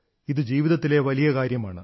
ഇത് ജീവിതത്തിലെ വലിയ കാര്യമാണ്